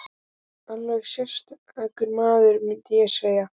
Alveg sérstakur maður, mundi ég segja.